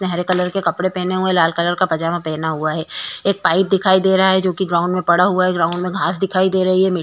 उसने हरे कलर के कपडे पहने हुवे हैं लाल कलर का पायजामा पहना हुवा है। एक पाइप दिखाई दे रहा है जो कि ग्राउंड में पड़ा हुवा है। ग्राउंड घास दिखाई दे रही है। मि --